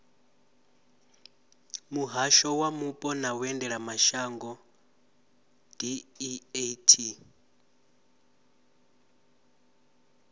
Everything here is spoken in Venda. muhasho wa mupo na vhuendelamashango deat